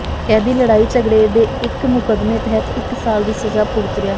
ਕੈਦੀ ਲੜਾਈ ਝਗੜੇ ਦੇ ਇੱਕ ਮੁਕੱਦਮੇ ਤਹਿਤ ਇੱਕ ਸਾਲ ਦੀ ਸਜ਼ਾ ਭੁਗਤ ਰਿਹਾ